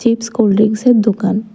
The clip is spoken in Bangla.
চিপস কোল্ডড্রিংকসয়ের দোকান।